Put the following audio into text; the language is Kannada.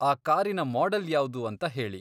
ಆ ಕಾರಿನ ಮಾಡೆಲ್ ಯಾವ್ದು ಅಂತ ಹೇಳಿ.